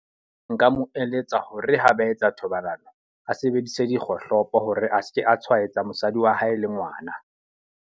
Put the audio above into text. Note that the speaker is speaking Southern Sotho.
Nka mo eletsa hore ha ba etsa thobalano, a sebedise dikgohlopo hore a seke a tshwaetsa mosadi wa hae le ngwana.